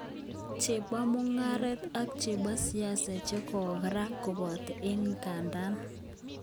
Chepo mugaret ak chepo siasa chekora kopata en kindanda ak